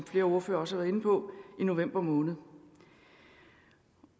flere ordførere også været inde på i november måned